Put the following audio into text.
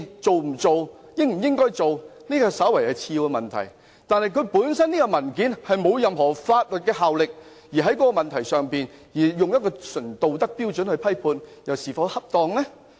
這份文件並無任何法律效力，議員在這個問題上純粹以道德標準作出批判。這又是否恰當？